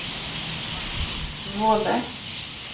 Våle